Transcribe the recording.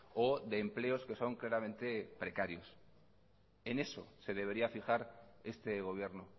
o de empleos que son claramente precarios en eso se debería fijar este gobierno